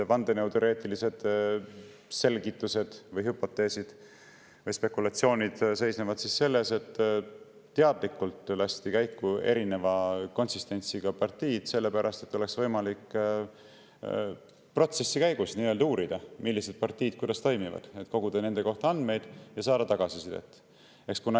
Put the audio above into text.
Vandenõuteoreetilised selgitused, hüpoteesid või spekulatsioonid seisnevad selles, et teadlikult lasti käiku erineva konsistentsiga partiid, et oleks võimalik protsessi käigus uurida, millised partiid kuidas toimivad, koguda nende kohta andmeid ja saada tagasisidet.